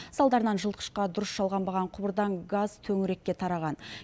салдарынан жылытқышқа дұрыс жалғанбаған құбырдан газ төңірекке тараған